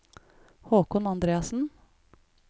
Håkon Andreassen